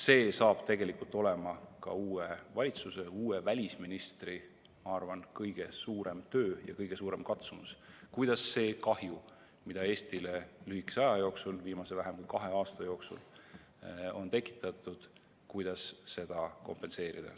See on tegelikult ka uue valitsuse, uue välisministri, ma arvan, kõige suurem töö ja kõige suurem katsumus, kuidas seda kahju, mida Eestile on lühikese aja jooksul, viimase vähem kui kahe aasta jooksul tekitatud, kompenseerida.